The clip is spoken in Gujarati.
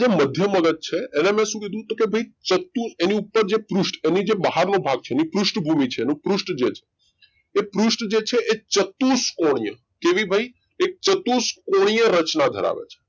મઘ્યમ અલગ છે એને મેં શું કીધું કે ભઈ ચતુ એની ઉપર જે પૃષ્ઠ એની જે બહાર નો ભાગ છે એની પૃષ્ઠ છે પૃષ્ઠ ધ્વજ એ પૃષ્ઠ જે છે, એ ચતુષ્કોણીય કેવી ભઈ એ ચતુષ્કોણીય રચના ધરાવે છે.